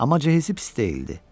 Amma cəhizi pis deyildi.